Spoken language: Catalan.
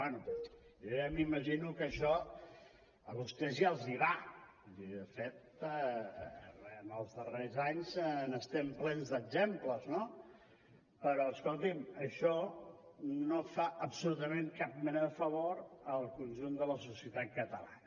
bé jo ja m’imagino que això a vostè ja els va vull dir de fet en els darrers anys n’estem plens d’exemples no però escolti’m això no fa absolutament cap mena de favor al conjunt de la societat catalana